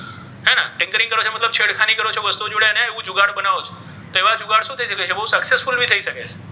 કરો છો મતલબ છેડ ખાની કરો છો વસ્તુ જોડે ઍવુ જુગાર બનાવે છો ઍવા જુગાર શુ થઇ શકે છે બહુ successfully ભી થઇ શકે છે.